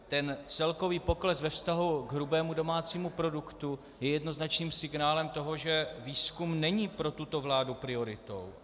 Ale celkový pokles ve vztahu k hrubému domácímu produktu je jednoznačným signálem toho, že výzkum není pro tuto vládu prioritou.